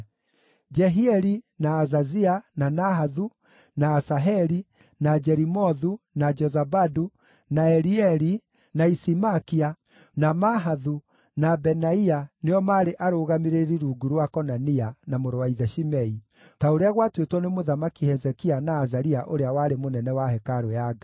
Jehieli, na Azazia, na Nahathu, na Asaheli, na Jerimothu, na Jozabadu, na Elieli, na Isimakia, na Mahathu, na Benaia nĩo maarĩ arũgamĩrĩri rungu rwa Konania na mũrũ wa ithe Shimei, ta ũrĩa gwatuĩtwo nĩ Mũthamaki Hezekia na Azaria ũrĩa warĩ mũnene wa hekarũ ya Ngai.